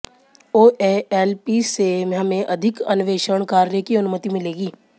ओएएलपीसे हमें अधिक अन्वेषण कार्य की अनुमति मिलेगी